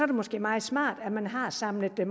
det måske meget smart at man har samlet det